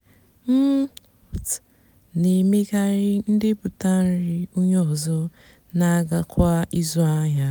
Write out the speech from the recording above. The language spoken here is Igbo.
m nà-èmekarị ndepụta nri ónyé ọzọ nà-àgàkwá ịzụ áhịa.